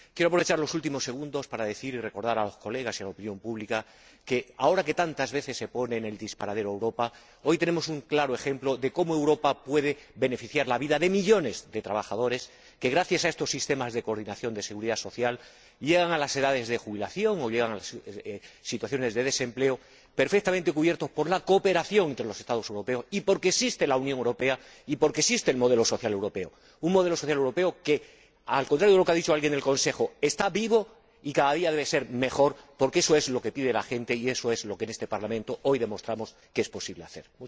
Quiero aprovechar los últimos segundos para decir y recordar a los colegas y a la opinión pública que, ahora que tantas veces se pone en el disparadero a Europa, hoy tenemos un claro ejemplo de cómo Europa puede beneficiar y mejorar la vida de millones de trabajadores que, gracias a estos sistemas de coordinación de la seguridad social, llegan a las edades de jubilación o llegan a situaciones de desempleo perfectamente cubiertos por la cooperación entre los Estados europeos, y porque existe la Unión Europea y porque existe el modelo social europeo, un modelo social europeo que, al contrario de lo que ha dicho alguien del Consejo, está vivo y cada día debe ser mejor, porque eso es lo que pide la gente y eso es lo que en este Parlamento hoy demostramos que es posible hacer.